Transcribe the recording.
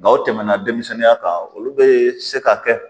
Nga u tɛmɛna denmisɛnninya kan olu bɛ se ka kɛ